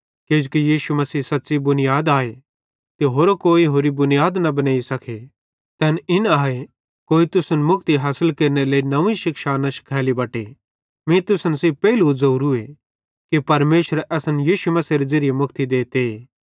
किजोकि यीशु मसीह सच़्च़ी बुनीयाद आए ते होरो कोई होरि बुनीयाद न बनेई सके तैन इन आए कोई तुसन मुक्ति हासिल केरनेरे लेइ नव्वीं शिक्षा न शिखैली बटे मीं तुसन सेइं पेइलू ज़ोवरू कि परमेशर असन यीशु मसीहेरे ज़िरिये मुक्ति देते